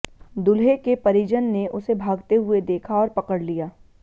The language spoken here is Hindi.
दूल्हे के परिजन ने उसे भागते हुए देखा और पकड़ लिया